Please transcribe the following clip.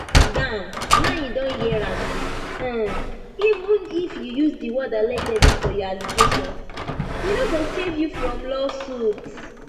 gbam now you don hear am um even if you use di word allegedly for your allegations e no go save you from lawsuit